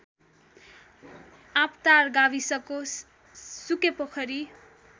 आँपटार गाविसको सुकेपोखरी